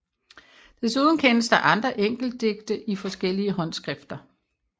Desuden kendes der andre enkeltdigte forskellige håndskrifter